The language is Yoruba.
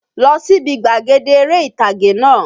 Lọ síbi gbàgede eré ìtàgé náà!